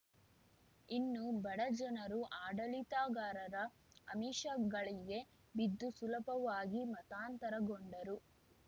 ಇನ್ನು ಬಡ ಜನರು ಆಡಳಿತಗಾರರ ಆಮಿಷಗಳಿಗೆ ಬಿದ್ದು ಸುಲಭವಾಗಿ ಮತಾಂತರಗೊಂಡರು